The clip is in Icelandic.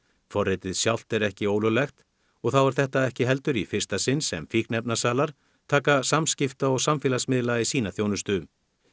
forritið sjálft er ekki ólöglegt og þá er þetta ekki heldur í fyrsta sinn sem fíkniefnasalar taka samskipta og samfélagsmiðla í sína þjónustu